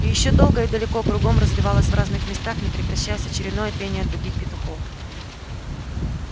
и ещё долго и далеко кругом разливалось в разных местах не прекращаясь очередное пение других петухов